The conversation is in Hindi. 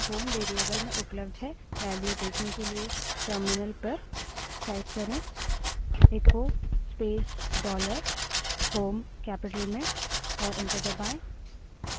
value देखने के लिए terminal पर echo space dollar home terminal पर echo space dollar shell capital में type करें और enter दबायें